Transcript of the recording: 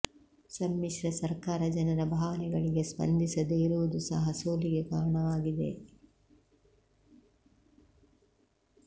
ಸಮ್ಮಿಶ್ರ ಸರ್ಕಾರ ಜನರ ಭಾವನೆಗಳಿಗೆ ಸ್ಪಂದಿಸದೇ ಇರುವುದು ಸಹ ಸೋಲಿಗೆ ಕಾರಣವಾಗಿದೆ